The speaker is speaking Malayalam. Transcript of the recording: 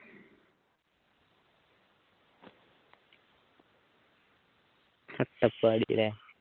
അട്ടപ്പാടിയല്ലേ